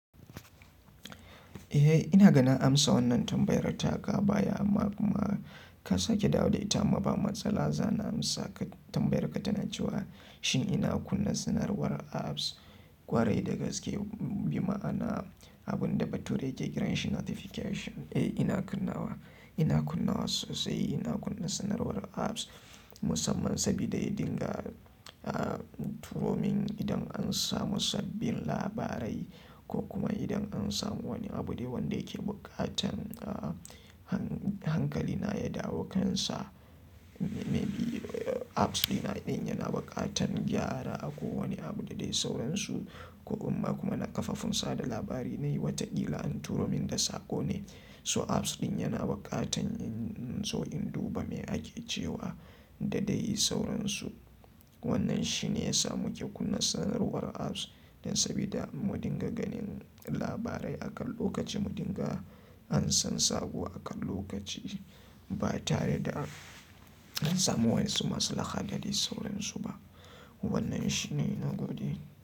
Eh ina ganin na amsa wannan tambayar taka baya amma kuma ka sake dawo da ita ama ba matsala. Zana amsa ka, tambayar ka ta na cewa, shin ina kunna sanarwar apps? Kwarai da gaske, bima'ana abunda bature ke kiran shi notification. Eh ina kunnawa, ina kunnawa sosai ina kunna sanarwar apps musamman sabida ya dinga ah, turo min idan an samu sabbin labarai, ko kuma idan an samu wani abu da wanda yake bukatan ah hankali na ya dawo kan sa. Apps ɗina ɗin yana bukatan gyara ako wani abu da dai sauransu ko amma kuma na kafafun sada labari nayi wataƙila an turo min da sako ne. To apps ɗin yana bukatan in zo in duba me ake cewa da dai sauransu. Wannan shine ya sa muke kunna sanarwar apps dan sabida mu dinga ganin labarai akan lokaci, mu dinga ansan sabo akan lokaci ba tareda, da an samu wayansi masu laha da dai sauransu ba. Wannan shine, na gode.